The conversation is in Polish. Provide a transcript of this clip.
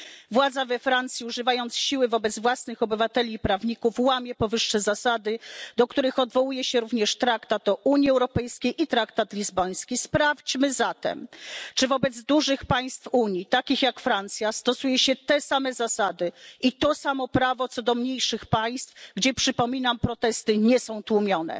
Władza we Francji, używając siły wobec własnych obywateli i prawników, łamie powyższe zasady, do których odwołuje się również Traktat o Unii Europejskiej i traktat lizboński. Sprawdźmy zatem, czy wobec dużych państw Unii, takich jak Francja, stosuje się te same zasady i to samo prawo co do mniejszych państw, gdzie przypominam protesty nie są tłumione.